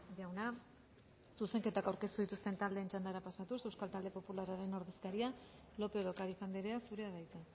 jauna zuzenketak aurkeztu dituzten taldeen txandara pasatuz euskal talde popularraren ordezkaria lópez de ocariz andrea zurea da hitza